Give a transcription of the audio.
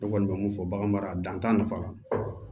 Ne kɔni bɛ mun fɔ bagan mara dan nafa